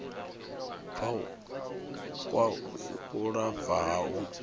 kwa u lafha ha u